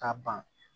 Ka ban